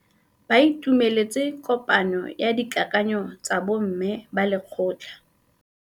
Ba itumeletse kôpanyo ya dikakanyô tsa bo mme ba lekgotla.